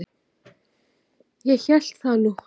Ég hélt það nú!